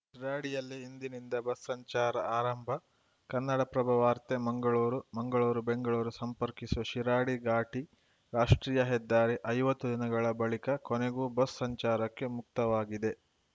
ರಾಡಿಯಲ್ಲಿ ಇಂದಿನಿಂದ ಬಸ್‌ ಸಂಚಾರ ಆರಂಭ ಕನ್ನಡಪ್ರಭ ವಾರ್ತೆ ಮಂಗಳೂರು ಮಂಗಳೂರು ಬೆಂಗಳೂರು ಸಂಪರ್ಕಿಸುವ ಶಿರಾಡಿ ಘಾಟಿ ರಾಷ್ಟ್ರೀಯ ಹೆದ್ದಾರಿ ಐವತ್ತು ದಿನಗಳ ಬಳಿಕ ಕೊನೆಗೂ ಬಸ್‌ ಸಂಚಾರಕ್ಕೆ ಮುಕ್ತವಾಗಿದೆ